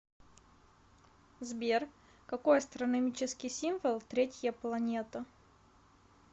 сбер какой астрономический символ третья планета